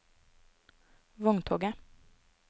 vogntoget